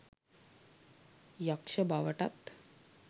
යක්ෂ බවටත්